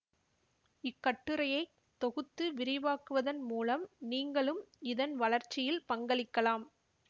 இக்கட்டுரையை தொகுத்து விரிவாக்குவதன் மூலம் நீங்களும் இதன் வளர்ச்சியில் பங்களிக்கலாம்